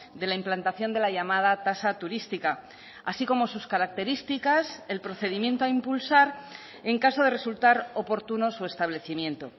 de la implantación de la llamada tasa turística así como sus características el procedimiento a impulsar en caso de resultar oportuno su establecimiento